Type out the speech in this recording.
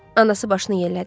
Anası başını yellədi.